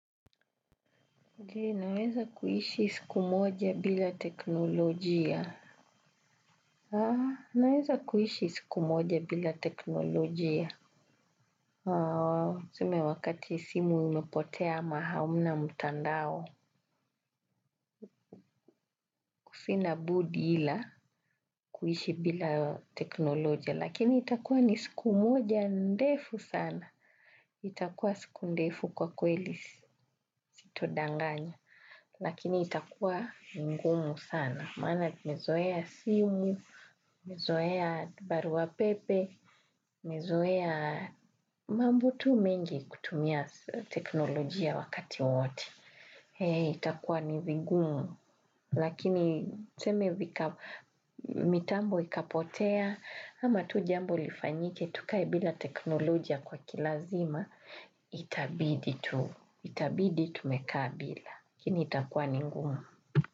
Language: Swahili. Naweza kuishi siku moja bila teknolojia. Naweza kuishi siku moja bila teknolojia. Tuseme wakati simu imepotea ama hamna mtandao. Sina budi ila kuishi bila teknolojia. Lakini itakuwa ni siku moja ndefu sana. Itakuwa siku ndefu kwa kweli sita danganya. Lakini itakuwa ngumu sana. Maana nimezoea simu, nimezoea barua pepe, nimezoea mambo tu mengi kutumia teknolojia wakati wote. Ee, itakuwa ni vigumu, lakini tuseme vika, mitambo ikapotea, ama tu jambo lifanyike, tukae bila teknolojia kwa kilazima, itabidi tu, itabidi tumeka bila. Lakini itakuwa ni ngumu.